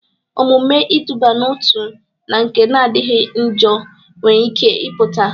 Omume iduba n'otu na nke na-adịchaghị njọ nwere ike ịpụta.